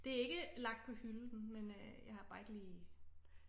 Det er ikke lagt på hylden men øh jeg har bare ikke lige